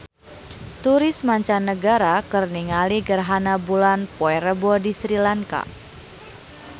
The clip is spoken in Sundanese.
Turis mancanagara keur ningali gerhana bulan poe Rebo di Sri Lanka